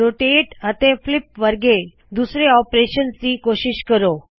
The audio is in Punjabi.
ਰੋਟੇਟ ਅਤੇ ਫਲਿਪ ਵਰਗੇ ਦੂੱਜੇ ਆਪਰੇਸ਼ਨਸ ਦੀ ਕੋਸ਼ਿਸ਼ ਕਰੋ